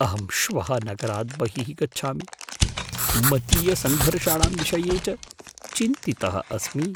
अहं श्वः नगरात् बहिः गच्छामि, मतीयसङ्घर्षाणां विषये च चिन्तितः अस्मि।